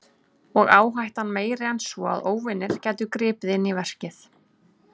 Og áhættan meiri en svo að óvanir gætu gripið inn í verkið.